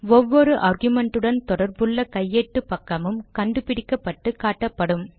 ஒவ்வொரு ஆர்குமென்ட்டுடன் தொடர்புள்ள கையேட்டு பக்கமும் கண்டுபிடிக்கப்பட்டு காட்டப்படும்